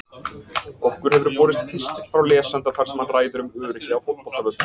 Okkur hefur borist pistill frá lesanda þar sem hann ræðir um öryggi á fótboltavöllum.